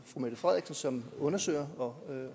fru mette frederiksen som undersøger og